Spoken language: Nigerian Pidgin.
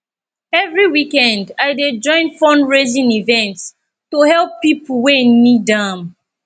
every weekend i dey join fundraising events to help people wey need am